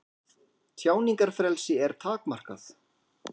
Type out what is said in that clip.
Tjáningarfrelsi er takmarkað